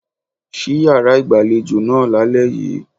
Ṣí yàrá ìgbàlejò náà lálẹ́ yìí.